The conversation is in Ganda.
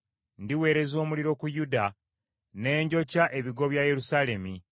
Ndiweereza omuliro ku Yuda ne njokya ebigo bya Yerusaalemi.”